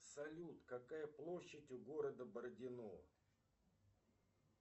салют какая площадь у города бородино